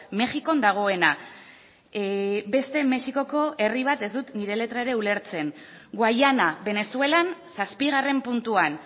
mexikon dagoena beste mexikoko herri bat ez dut nire letra ere ulertzen guayana venezuelan zazpigarren puntuan